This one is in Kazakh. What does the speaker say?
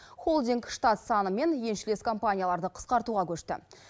холдинг штат саны мен еншілес компанияларды қысқартуға көшті